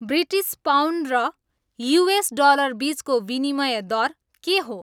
British pound र US dollar बिचचको विनिमय दर के हो